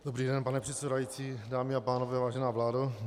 Dobrý den, pane předsedající, dámy a pánové, vážená vládo.